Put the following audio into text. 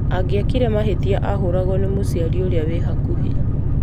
Angĩekire mahĩtia ahũragwo nĩ mũciari ũrĩa wĩ hakuhĩ